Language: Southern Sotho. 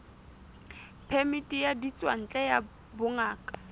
phemiti ya ditswantle ya bongaka